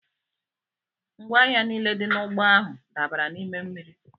Ngwa ahịa niile dị n'ụgbọ ahụ dabara n'ime mmiri.